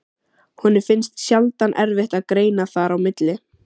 Honum finnst sjaldan erfitt að greina þar á milli.